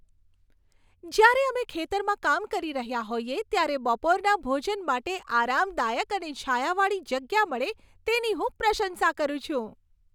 જ્યારે અમે ખેતરમાં કામ કરી રહ્યા હોઈએ ત્યારે બપોરના ભોજન માટે આરામદાયક અને છાયાવાળી જગ્યા મળે, તેની હું પ્રશંસા કરું છું.